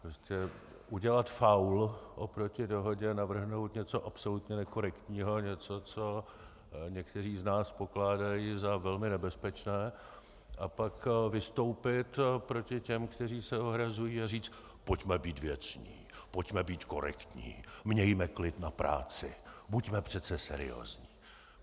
Prostě udělat faul oproti dohodě, navrhnout něco absolutně nekorektního, něco, co někteří z nás pokládají za velmi nebezpečné, a pak vystoupit proti těm, kteří se ohrazují a říci: pojďme být věcní, pojďme být korektní, mějme klid na práci, buďme přece seriózní.